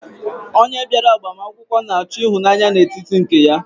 Onye bịara agbamakwụkwọ na-achọ ịhụnanya n'etiti nke ya.